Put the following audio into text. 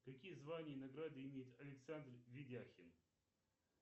какие звания и награды имеет александр ведяхин